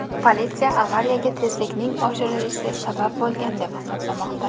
Politsiya avariyaga tezlikning oshirilishi sabab bo‘lgan deb hisoblamoqda.